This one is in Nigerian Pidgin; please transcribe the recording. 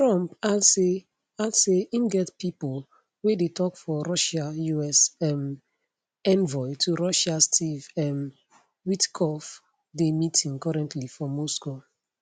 trump add say add say im get pipo wey dey tok for russia us um envoy to russia steve um witkoff dey meeting currently for moscow